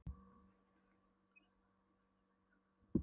Pabbi hirti öll launin okkar og skammtaði okkur síðan vasapeninga.